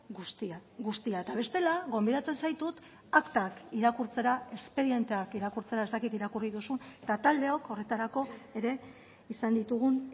guztia guztia eta bestela gonbidatzen zaitut aktak irakurtzera espedienteak irakurtzera ez dakit irakurri duzun eta taldeok horretarako ere izan ditugun